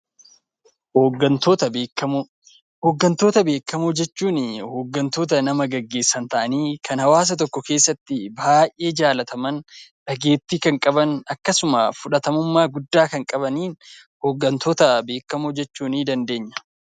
Hoggantoota beekamoo Hoggantoota beekamoo jechuun hoggantoota nama geggeessan ta'anii, kan hawaasa tokko keessatti baay'ee jaallataman, dhageettii kan qaban, akkasuma fudhatamummaa guddaa kan qaban 'Hoggantoota beekamoo' jechuu nii dandeenya.